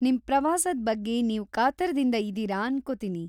ನಿಮ್‌ ಪ್ರವಾಸದ್ ಬಗ್ಗೆ ನೀವು ಕಾತರ್ದಿಂದ ಇದೀರ ಅನ್ಕೋತೀನಿ.